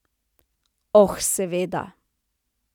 Oh, seveda.